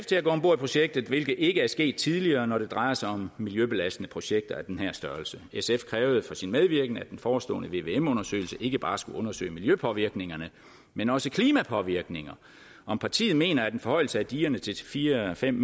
til at gå om bord i projektet hvilket ikke er sket tidligere når det drejer sig om miljøbelastende projekter af den her størrelse sf krævede for sin medvirken at den forestående vvm undersøgelse ikke bare skulle undersøge miljøpåvirkninger men også klimapåvirkninger om partiet mener at en forhøjelse af digerne til fire fem